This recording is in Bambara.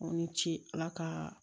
Aw ni ce ala ka